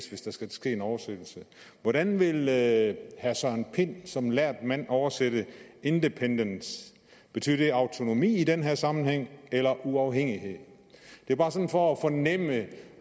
hvis der skal ske en oversættelse hvordan vil herre søren pind som lærd mand oversætte independence betyder det autonomi i den her sammenhæng eller uafhængighed det er bare sådan for at fornemme